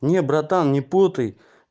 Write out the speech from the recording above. не братан не путай